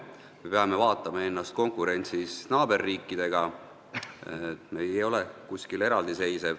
Me peame vaatama ennast konkurentsis naaberriikidega, me ei seisa teistest eraldi.